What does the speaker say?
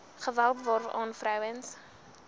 geweld waaraan vroue